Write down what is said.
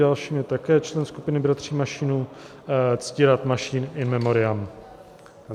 Další je také člen skupiny bratří Mašínů Ctirad Mašín, in memoriam.